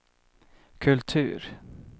kultur